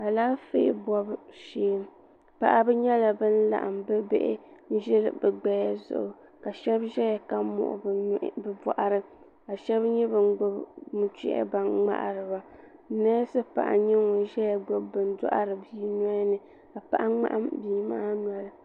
Alaafee bɔbu shɛɛ paɣaba nyɛla bini laɣim bi bihi n zili bi gbaya zuɣu ka shɛba zɛya ka muɣi bi nuhi niŋ bi bɔɣiri ka shɛba nyɛ bini gbubi nuchɛhi baŋ mŋari ba nɛsi paɣa nyɛ ŋuni ziya gbubi bini n dɔhiri bii noli ni ka paɣa mŋahim bia maa noli.